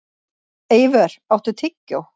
Eivör, áttu tyggjó?